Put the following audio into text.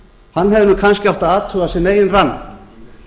hann hefði kannski átt að athuga sinn eigin rann